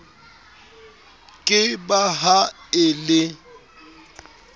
ke ba ha e le